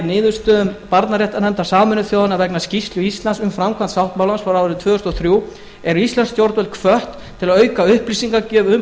niðurstöðum barnaréttarnefndar sameinuðu þjóðanna vegna skýrslu íslands um framkvæmd sáttmálans frá árinu tvö þúsund og þrjú eru íslensk stjórnvöld hvött til að auka upplýsingagjöf um